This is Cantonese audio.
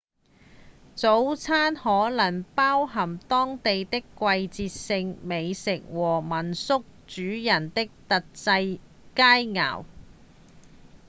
早餐可能包含當地的季節性美食或民宿主人的特製佳餚